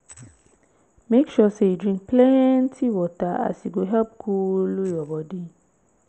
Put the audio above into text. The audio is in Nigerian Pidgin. mek sure sey yu drink plenti water as e go help coolu yur bodi